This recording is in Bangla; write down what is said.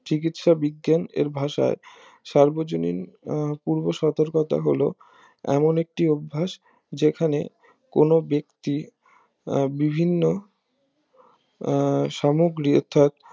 চিকিৎসা বিজ্ঞান এর ভাষায় সার্বজনীন পূর্ব সতর্কতা হলো এমন একটি অভ্যাস যেখানে কোন ব্যক্তি আহ বিভিন্ন আহ সামগ্রী অর্থাৎ